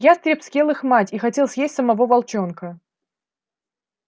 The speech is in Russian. ястреб съел их мать и хотел съесть самого волчонка